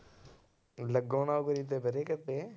ਲੱਗੋ ਨਾ ਕਿਤੇ